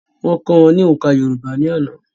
Wọ́n kọ́ wọn ní òǹkà yorùbá ní àná